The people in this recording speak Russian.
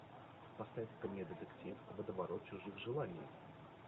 поставь ка мне детектив водоворот чужих желаний